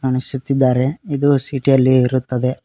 ಅನಿಸುತ್ತಿದ್ದಾರೆ ಇದು ಸಿಟಿ ಅಲ್ಲಿ ಇರುತ್ತದೆ.